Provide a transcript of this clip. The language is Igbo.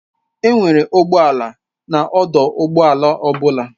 Enwere ụgbọ ala na ọdụ ụgbọ ala ọ bụla.